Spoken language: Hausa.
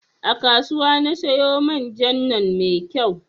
A kasuwa na siyo man jan nan mai kyau